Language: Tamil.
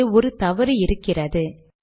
இங்கே ஒரு தவறு இருக்கின்றது